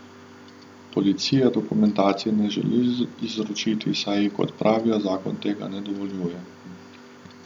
Policija dokumentacije ne želi izročiti, saj ji, kot pravijo, zakon tega ne dovoljuje.